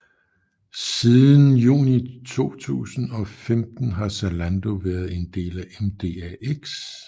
Siden juni 2015 har Zalando været en del af MDAX